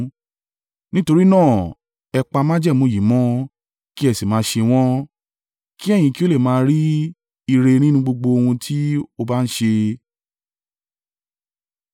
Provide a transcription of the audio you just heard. Nítorí náà, ẹ pa májẹ̀mú yìí mọ́, kí ẹ sì máa ṣe wọ́n, kí ẹ̀yin kí ó lè máa rí ire nínú gbogbo ohun tí o bá ń ṣe.